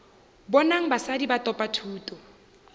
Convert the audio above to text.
bonang basadi ba thopa thuto